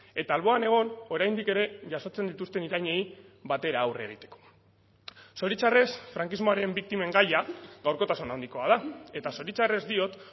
eta alboan egon oraindik ere jasotzen dituzten irainei batera aurre egiteko zoritxarrez frankismoaren biktimen gaia gaurkotasun handikoa da eta zoritxarrez diot